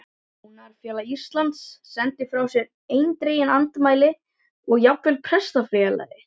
Búnaðarfélag Íslands sendi frá sér eindregin andmæli og jafnvel Prestafélag